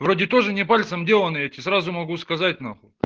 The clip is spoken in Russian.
вроде тоже не пальцем деланый я тебе сразу могу сказать нахуй